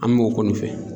An b'o kɔni fɛ